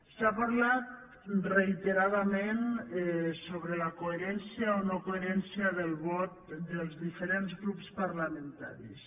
s’ha parlat reiteradament sobre la coherència o nocoherència del vot dels diferents grups parlamentaris